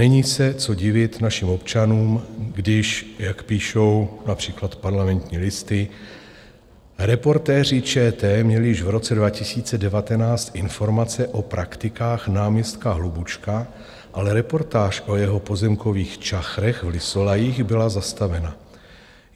Není se co divit našim občanům, když, jak píší například Parlamentní listy, Reportéři ČT měli již v roce 2019 informace o praktikách náměstka Hlubučka, ale reportáž o jeho pozemkových čachrech v Lysolajích byla zastavena.